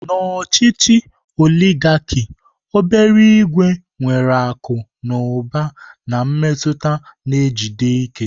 Na ochichi oligarki obere ìgwè nwere akụ na ụba na mmetụta na-ejide ike.